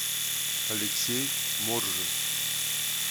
алексей моржин